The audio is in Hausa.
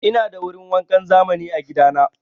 Ina da wurin wankan zamani a gida na.